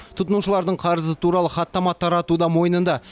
тұтынушылардың қарызы туралы хаттама тарату да мойнында